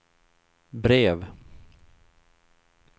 brev